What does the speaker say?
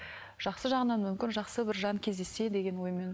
жақсы жағынан мүмкін жақсы бір жан кездессе деген оймен